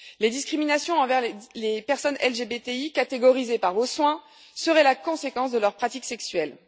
Les discriminations envers les personnes LGBTI, catégorisées par vos soins, seraient la conséquence de leurs pratiques sexuelles.